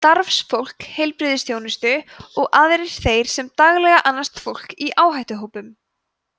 starfsfólk heilbrigðisþjónustu og aðrir þeir sem daglega annast fólk í áhættuhópum